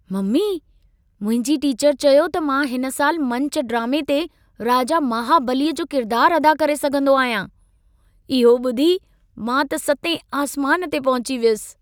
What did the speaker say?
Mummy, मुंहिंजी teacher चयो त मां हिन साल मंच ड्रामे ते राजा महाबली जो किरदार अदा करे सघंदो आहियां। इहो ॿुधी मां त सतें आसमान ते पहुची वियसि।